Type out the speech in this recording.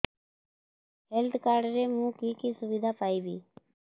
health card ରେ ମୁଁ କି କି ସୁବିଧା ପାଇବି